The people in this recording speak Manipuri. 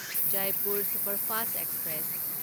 Jaipur superfast express